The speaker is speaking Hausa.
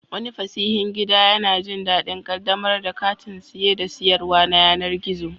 Wani fasihin gida yana jin daɗin ƙaddamar da kantin saye da sayarwa na yanar gizo.